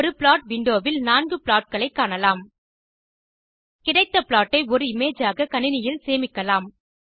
ஒரு plot window வில் 4 plot களை காணலாம் கிடைத்த ப்ளாட் ஐ ஒரு இமேஜ் ஆக கணினியில் சேமிக்கலாம்